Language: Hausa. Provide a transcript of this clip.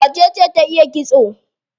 Wacece ta iya kitso?